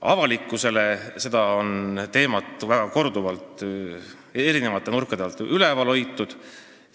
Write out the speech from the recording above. Avalikkuse jaoks on seda teemat korduvalt eri nurkade alt ülal hoitud.